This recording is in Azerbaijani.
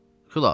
Xülasə.